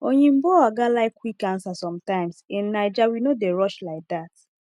oyinbo oga like quick answer sometimes in naija we no dey rush like that